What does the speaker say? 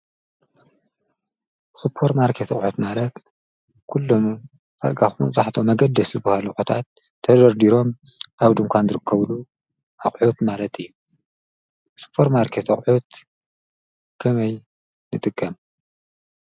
ሱፐር ማርኬት ኣቁሑት ማለት ኩሎም ዳርጋ መብዛሕትኦም ኣገደስቲ ኣቁሑታት ተደርዲሮም ኣብ ዱካን ዝርከብሉ ኣቁሑት ማለት እዩ ። ሱፐር ማርኬት ኣቁሑት ከመይ ንጥቀም?